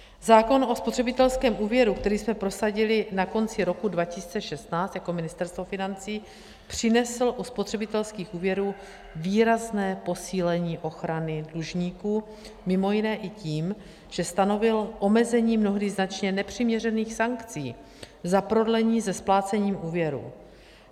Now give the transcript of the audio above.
Zákon o spotřebitelském úvěru, který jsme prosadili na konci roku 2016 jako Ministerstvo financí, přinesl u spotřebitelských úvěrů výrazné posílení ochrany dlužníků mimo jiné i tím, že stanovil omezení mnohdy značně nepřiměřených sankcí za prodlení se splácením úvěru.